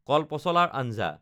কলপচলাৰ আঞ্জা